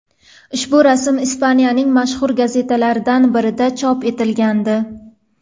Ushbu rasm Ispaniyaning mashhur gazetalaridan birida chop etilgandi.